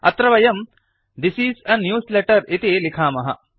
अत्र वयं this is a newsletter इति लिखामः